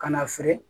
Ka na feere